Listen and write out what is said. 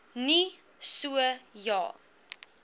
nie so ja